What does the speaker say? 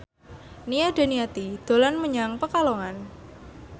Nia Daniati dolan menyang Pekalongan